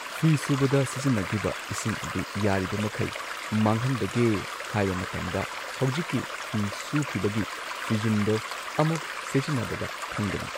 ꯐꯤ ꯁꯨꯕꯗ ꯁꯤꯖꯤꯟꯅꯈꯤꯕ ꯏꯁꯤꯡ ꯑꯗꯨ ꯌꯥꯔꯤꯕꯃꯈꯩ ꯃꯥꯡꯍꯟꯗꯒꯦ ꯍꯥꯏꯕ ꯃꯇꯝꯗ ꯍꯧꯖꯤꯛꯀꯤ ꯐꯤ ꯁꯨꯈꯤꯕꯒꯤ ꯐꯤꯖꯨꯝꯗꯣ ꯑꯃꯨꯛ ꯁꯤꯖꯤꯟꯅꯕꯗ ꯈꯪꯒꯅꯤ꯫